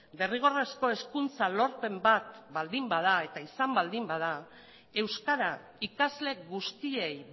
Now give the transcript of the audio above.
derrigorrezko hezkuntza lorpen bat baldin bada eta izan baldin bada euskara ikasle guztiei